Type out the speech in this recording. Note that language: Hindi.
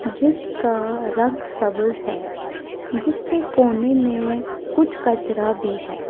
जिसका रंग है जिसके कोने में कुछ कचरा भी है।